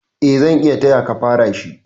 Eh, zan iya tayaka fara shi.